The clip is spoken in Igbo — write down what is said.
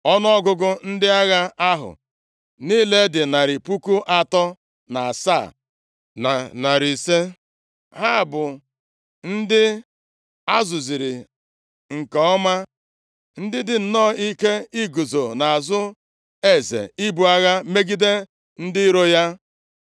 Ọnụọgụgụ ndị agha ahụ niile dị narị puku atọ na asaa, na narị ise, ya bụ, 307,500. Ha bụ ndị a zụziri nke ọma, ndị dị nnọọ ike iguzo nʼazụ eze ibu agha megide ndị iro ya.